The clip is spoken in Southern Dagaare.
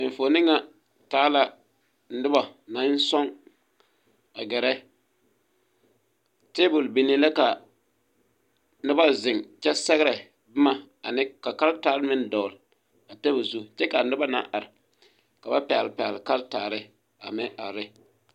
Enfuone ŋa taa la noba naŋ sɔŋ a gɛrɛ tabol binee la ka noba zeŋ kyɛ sɛgrɛ bomma ane ka karetaare meŋ dɔgle a tabol zu kyɛ kaa noba naŋ are ka pɛgle pɛgle karetaare a meŋ are.